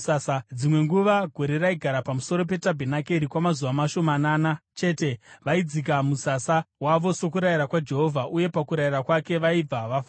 Dzimwe nguva gore raigara pamusoro petabhenakeri kwamazuva mashomanana chete; vaidzika musasa wavo sokurayira kwaJehovha uye pakurayira kwake, vaibva vafamba.